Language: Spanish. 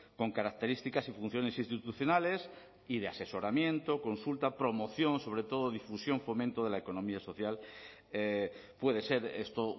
con características y funciones institucionales y de asesoramiento consulta promoción sobre todo difusión fomento de la economía social puede ser esto